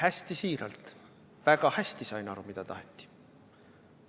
Hästi siiralt: väga hästi sain aru, mida taheti.